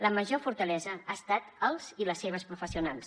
la major fortalesa han estat els i les seves professionals